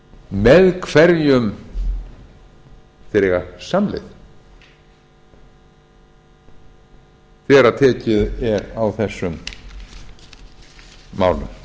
með hverjum þeir eiga samleið þegar tekið er á þessum málum lauk á fyrri sp